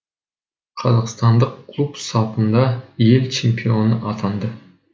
қазақстандық клуб сапында ел чемпионы атанады